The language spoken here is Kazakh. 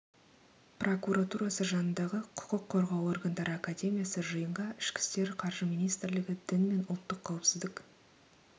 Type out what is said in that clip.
прокуратурасы жанындағы құқық қорғау органдары академиясы жиынға ішкі істер қаржы министрлігі дін мен ұлттық қауіпсіздік